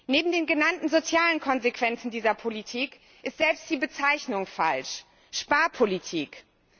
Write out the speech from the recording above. Neben den genannten sozialen Konsequenzen dieser Politik ist selbst die Bezeichnung Sparpolitik falsch.